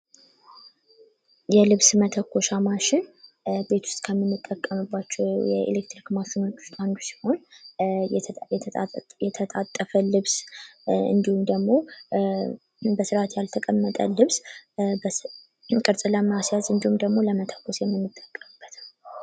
የልብስ መተኮሻ ማሽን ቤት ውስጥ ከምንጠቀምባቸው የኤሌክትሪክ ማሽኖች ውስጥ አንዱ ሲሆን የተጣጠፈ ልብስ እንዲሁም ደግሞ በስርአት ያልተቀመጠን ልብስ ቅርፅ ለማስያዝ እንዲሁም ደግሞ ለመተኮስ የምንጠቀምበት ነው ።